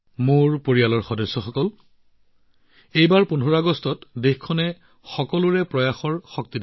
মোৰ পৰিয়ালৰ সদস্যসকল এইবাৰ ১৫ আগষ্টত দেশত দেখা গল সবকা প্ৰয়াসৰ শক্তি